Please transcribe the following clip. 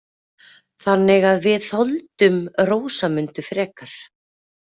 Þannig að við þoldum Rósamundu frekar.